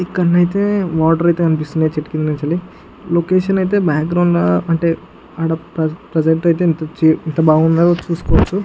ఇక్కడనైతే water అయతె కనిపిస్తునాయ్ చేట్టు కింద నుంచి లొకేషన్ అయతె బ్యాక్ గ్రౌండ్ అంటే ప్రెసెంట యితే ఎంత చి ఎంత బాగున్నదో చుసుకోవాచు.